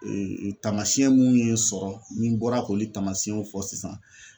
tamasiyɛn mun ye sɔrɔ ni n bɔra k'olu tamasiyɛnw fɔ sisan.